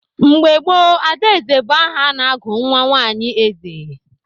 Mgbe gboo, Adaeze bụ aha a na-agụ nwa nwanyi eze.